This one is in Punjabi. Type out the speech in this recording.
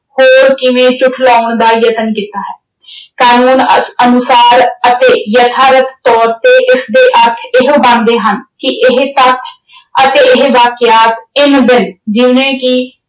ਹੋਰ ਕਿਵੇਂ ਝੂਠਲਾਉਣ ਦਾ ਯਤਨ ਕੀਤਾ ਹੈ। ਕਾਨੂੰਨ ਅਹ ਅਨੁਸਾਰ ਅਤੇ ਯਥਾਰਤ ਤੌਰ ਤੇ ਇਸਦੇ ਅਰਥ ਇਹੋ ਬਣਦੇ ਹਨ ਕਿ ਇਹ ਤੱਥ ਅਤੇ ਇਹ ਵਾਕਿਆਤ ਇੰਨ-ਬਿੰਨ ਜਿਵੇਂ ਕਿ